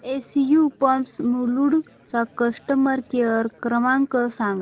SU pumps Mulund चा customer care क्रमांक सांगा